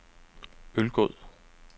Ølgod